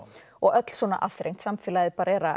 og öll svona aðþrengd samfélagið